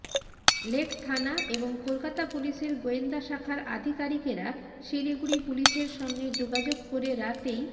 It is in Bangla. লেক থানা এবং কলকাতা পুলিশের গোয়েন্দা শাখার আধিকারিকেরা শিলিগুড়ি পুলিশের সঙ্গে যোগাযোগ করে রাতেই